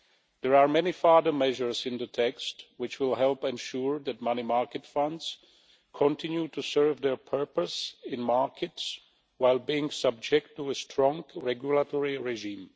There are many further measure us in the text which will help ensure that money market funds continue to serve their purpose in markets while being subject to a strong regulatory regime.